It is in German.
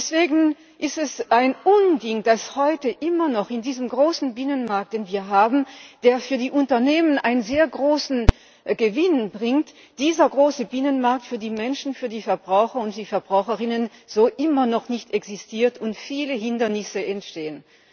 Deswegen ist es ein Unding, dass dieser große Binnenmarkt den wir haben, der für die Unternehmen einen sehr großen Gewinn bringt, dieser große Bienenmarkt für die Menschen, für die Verbraucher und die Verbraucherinnen heute immer noch nicht so existiert und viele Hindernisse entstehen.